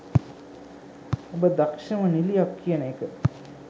ඔබ දක්ෂම නිලියක් කියන එක